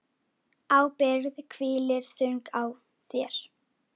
Ábyrgð hvílir þung á þér.